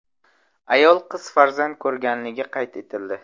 Ayol qiz farzand ko‘rganligi qayd etildi.